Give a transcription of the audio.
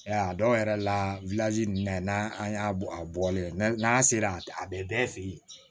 Ya dɔw yɛrɛ la n'an an y'a a bɔlen n'a sera a bɛ bɛɛ fɛ yen